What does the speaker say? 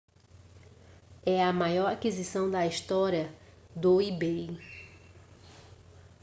é a maior aquisição da história do ebay